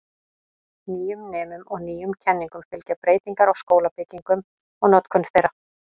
Nýjum nemum og nýjum kenningum fylgja breytingar á skólabyggingum og notkun þeirra.